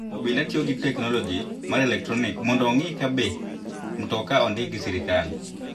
Obila tio gi teknoloji mar elektronik mondo ong'i kabe mtoka ondiki gi sirkal.